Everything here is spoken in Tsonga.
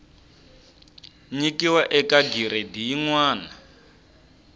nyikiwa eka giredi yin wana